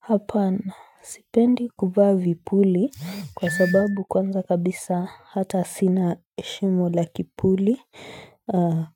Hapana, sipendi kuvaa vipuli kwa sababu kwanza kabisa hata sina shimo la kipuli